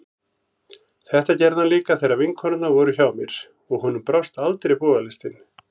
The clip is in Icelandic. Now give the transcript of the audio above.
Þetta gerði hann líka þegar vinkonurnar voru hjá mér, og honum brást aldrei bogalistin.